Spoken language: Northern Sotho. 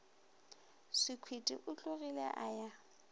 sekhwiti o tlogile a ya